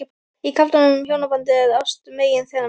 Í kaflanum um hjónabandið er ást meginþema.